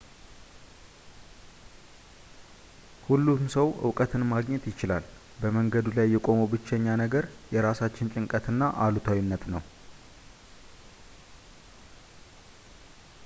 ሁሉም ሰው ዕውቀትን ማግኘት ይችላል በመንገዱ ላይ የቆመው ብቸኛ ነገር የራሳችን ጭንቀት እና አሉታዊነት ነው